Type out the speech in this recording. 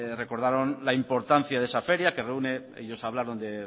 recordaron la importancia de esa feria que reúne ellos hablaron de